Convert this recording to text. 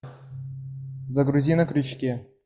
загрузи на крючке